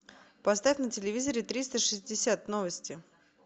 поставь на телевизоре триста шестьдесят новости